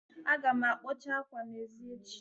Aga m akpọcha ákwâ n'èzí echi